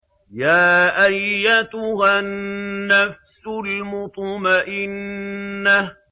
يَا أَيَّتُهَا النَّفْسُ الْمُطْمَئِنَّةُ